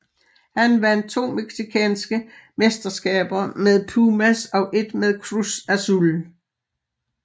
Han vandt to mexicanske mesterskaber med Pumas og ét med Cruz Azul